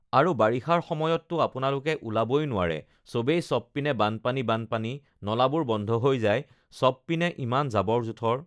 আৰু বাৰিষাৰ সময়ততো আপোনালোকে ওলাবই নোৱাৰে চবেই চবপিনে বানপানী বানপানী নলাবোৰ বন্ধ হৈ যায় চবপিনে ইমান জাবৰ-জোথৰ